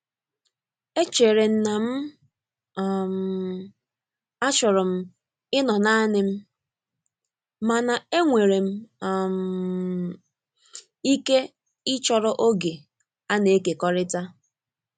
Echerem na'm um achọrọ m ịnọ naanị m, mana enwere m um ike ịchọrọ oge a na-ekekọrịta.